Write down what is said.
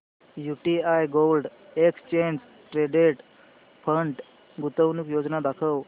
UTI gold exchange traded fund गुंतवणूक योजना दाखव